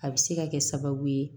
A bɛ se ka kɛ sababu ye